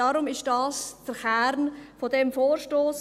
Deshalb ist das der Kern dieses Vorstosses.